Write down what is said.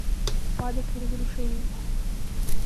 упадок и разрушение